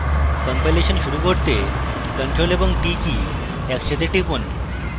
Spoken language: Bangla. কম্পাইলেশন শুরু করতে ctrl এবংt কী একসঙ্গে টিপুন